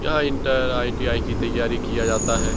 यहाँ inter ITI. की तैयारी किया जाता है।